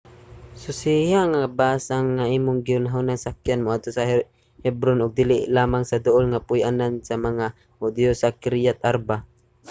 susiha nga ang bus nga imong gihunahunang sakyan moadto sa hebron ug dili lamang sa duol nga puy-anan sa mga hudiyo sa kiriath arba